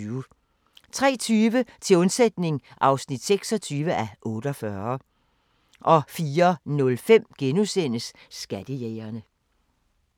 03:20: Til undsætning (26:48) 04:05: Skattejægerne *